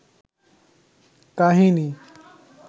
কাহিনী